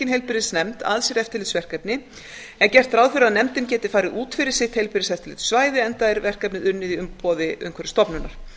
heilbrigðisnefnd að sér eftirlitsverkefni er gert ráð fyrir að nefndin geti farið út fyrir sitt heilbrigðiseftirlitssvæði enda er verkefnið unnið í umboði umhverfisstofnunar